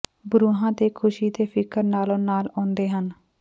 ਬਰੂਹਾਂ ਤੇ ਖੁਸ਼ੀ ਤੇ ਫਿਕਰ ਨਾਲੋ ਨਾਲ ਆਉਂਦੇ ਨੇ